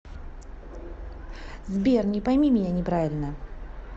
сбер не пойми меня неправильно